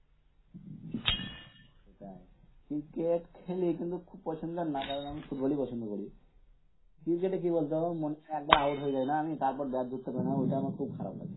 কোথায়? ক্রিকেট খেলি কিন্তু খুব পছন্দের না কারণ আমি ফুটবল ই পছন্দ করি ক্রিকেট এ কি বলতো একবার আউট হয়ে যাই না আমি তারপর ব্যাট ধরতে পারিনা ঐটাই আমার খুব খারাপ লাগে